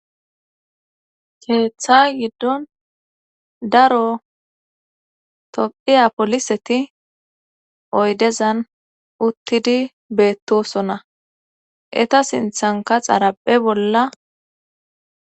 Keeththa giddon daro topphiya poliseti oydezan uttidi beettosona eta sinthanka xaraphe bolla.